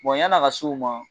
Bon yani a ka se o ma.